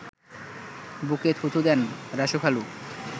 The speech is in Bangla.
বুকে থু থু দেন রাসু খালু